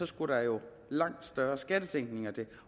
skulle der jo langt større skattesænkninger til